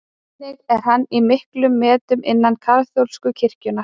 Einnig er hann í miklum metum innan kaþólsku kirkjunnar.